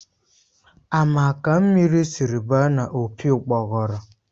Ama ka mmiri sịrị ba n'opi ugbọguru?